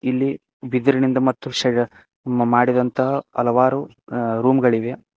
ಇಲ್ಲಿ ಬಿದರಿನಿಂದ ಮತ್ತು ಶಯ ಮಾಡಿದಂತಹ ಹಲವಾರು ಅ ರೂಮ್ ಗಳಿವೆ.